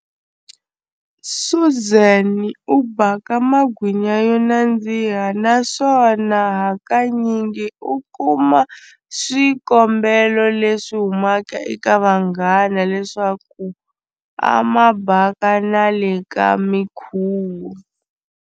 Suzan u baka magwinya yo nandziha naswona hakanyingi u kuma swikombelo leswi humaka eka vanghana leswaku a ma baka na le ka minkhuvo.